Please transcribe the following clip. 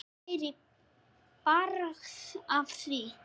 Það væri bragð af því!